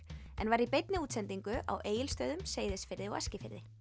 en var í beinni útsendingu á Egilsstöðum Seyðisfirði og Eskifirði